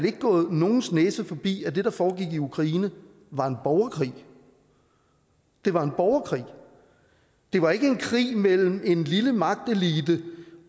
ikke gået nogens næse forbi at det der foregik i ukraine var en borgerkrig det var en borgerkrig det var ikke en krig mellem en lille magtelite